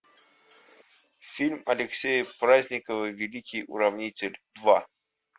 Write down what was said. фильм алексея праздникова великий уравнитель два